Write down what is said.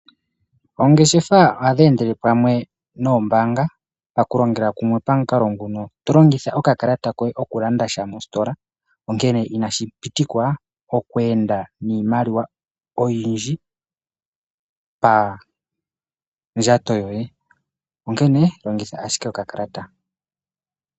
Oongeshefa ohadhi endele pamwe noombanga pakulongela kumwe pamukalo nguno, tolongitha okakalata kohe oku landa sha mositola , onkene inashi pitikwa okwenda niimaliwa oyiindji pa ndjato yoye onkene longitha owala okakalata.